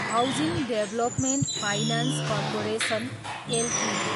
housing development finance corporation Ltd